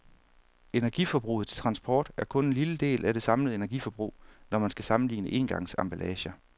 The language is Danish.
Energiforbruget til transport er kun en lille del af det samlede energiforbrug, når man skal sammenligne engangsemballager.